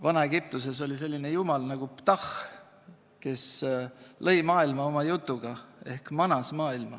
Vana-Egiptuses oli selline jumal nagu Ptah, kes lõi maailma oma jutuga ehk manas maailma.